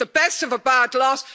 It's the best of a bad lot.